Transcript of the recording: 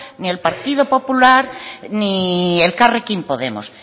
ni el partido popular ni elkarrekin podemos